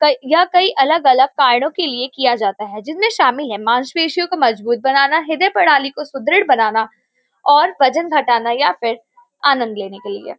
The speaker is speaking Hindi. कहीं यहाँ कहीं अलग अलग कारणों के लिए किया जाता है जिनमें शामिल हैं मांसपेशियों को मजबूत बनाना ह्र्दय प्रणाली को सुद्रुढ बनाना और वजन घटाना या फिर आनंद लेने के लिए|